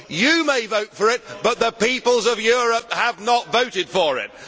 He may vote for it but the peoples of Europe have not voted for it.